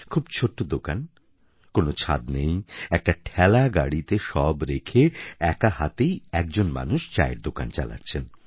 খুব ছোট দোকান কোনও ছাদ নেই একটা ঠেলা গাড়িতে সব রেখে একা হাতেই একজন মানুষ চায়ের দোকান চালাচ্ছেন